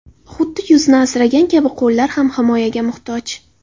Xuddi yuzni asragan kabi qo‘llar ham himoyaga muhtoj.